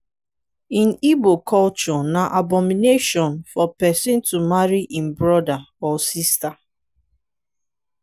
in igbo culture na abomination for pesin to marry im brother or sister.